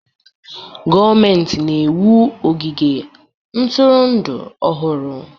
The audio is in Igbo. Gọọmentị na-ewu ogige ntụrụndụ ọhụrụ